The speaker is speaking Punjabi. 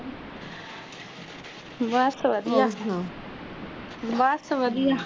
ਬਸ ਵਧੀਆ ਬਸ ਵਧੀਆ